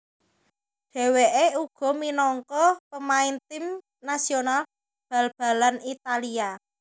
Dhewekè uga minangka pemain tim nasional bal balanItalia